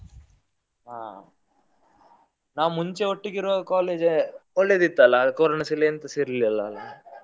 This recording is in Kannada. ಹಾ ನಾವ್ ಮುಂಚೆ ಒಟ್ಟಿಗೆ ಇರುವಾಗ college ಏ ಒಳ್ಳೆದಿತ್ತಲ್ಲ ಕೊರೊನಾಸ ಇಲ್ಲ ಎಂತಸ ಇರ್ಲಿಲ್ಲ ಅಲ್ಲ ಅಲ್ಲ.